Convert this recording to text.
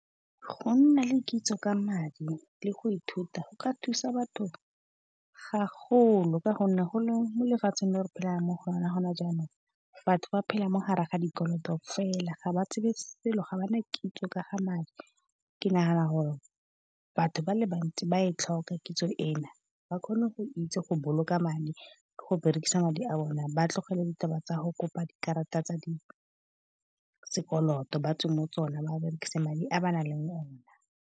Go nna le kitso ka madi le go ithuta go ka thusa batho ga golo, ka gonne go le molefatsheng le re phelang mo go lona gone jaanong, batho ba phela mo gare ga dikoloto fela. Ga ba tsebe selo ga bana kitso ka ga madi, ke nagana gore batho ba le bantsi ba e tlhoka kitso ena ba kgone go itse go boloka madi. Go berekisa madi a bone, ba tlogele ditaba tsa go kopa dikarata tsa sekoloto, batswe mo tsona, ba berekisa madi a ba nang le o na.